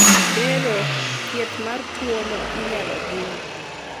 bero, thieth mar tuono inyalo jiw